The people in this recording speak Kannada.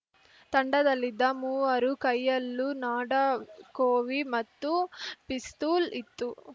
ತಂಡದಲ್ಲಿದ್ದ ಮೂವರು ಕೈಯಲ್ಲೂ ನಾಡಕೋವಿ ಮತ್ತು ಪಿಸ್ತೂಲ್‌ ಇತ್ತು